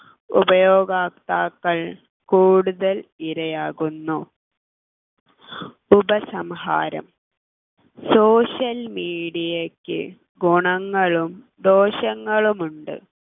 ഉപയോഗാക്താക്കൾ കൂടുതൽ ഇരയാവുന്നു ഉപസംഹാരം social media യ്ക്ക് ഗുണങ്ങളും ദോഷങ്ങളും ഉണ്ട്